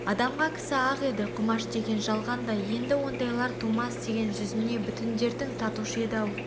адамға кісі ақ еді құмаш деген жалғанда енді ондайлар тумас деген жүзіне бүтіндердің татушы еді ау